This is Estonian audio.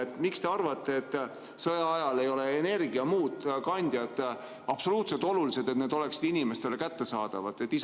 Aga miks te arvate, et sõja ajal ei ole energiakandjad absoluutselt olulised – see, et need oleksid inimestele kättesaadavad?